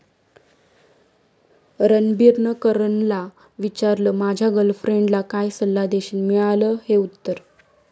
रणबीरनं करणला विचारलं, माझ्या गर्लफ्रेंडला काय सल्ला देशील?, मिळालं हे उत्तर